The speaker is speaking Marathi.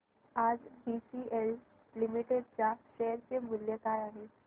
आज बीसीएल लिमिटेड च्या शेअर चे मूल्य काय आहे